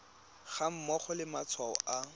ga mmogo le matshwao a